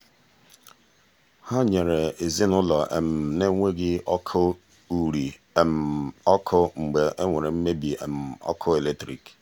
ha nyere ezinụụlọ na-enweghị ọkụ uri um ọkụ mgbe e nwere mmebi um ọkụ eletrik.